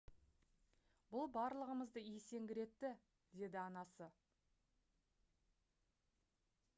«бұл барлығымызды есеңгіретті» - деді анасы